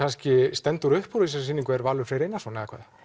stendur upp úr í þessari sýningu er kannski Valur Freyr Einarsson